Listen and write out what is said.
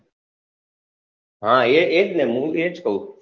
હા એજ ને હું એજ કહું